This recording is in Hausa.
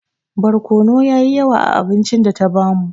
Barkono yayi yawa a abincin data bamu